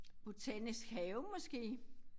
Botanisk Have måske